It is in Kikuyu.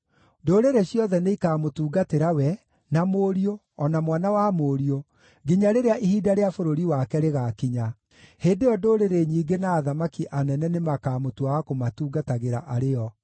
Ndũrĩrĩ ciothe nĩikamũtungatĩra we, na mũriũ, o na mwana wa mũriũ, nginya rĩrĩa ihinda rĩa bũrũri wake rĩgaakinya; hĩndĩ ĩyo ndũrĩrĩ nyingĩ na athamaki anene nĩmakamũtua wa kũmatungatagĩra arĩ o.